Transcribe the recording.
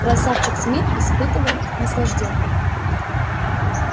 красавчик смит испытывал наслаждение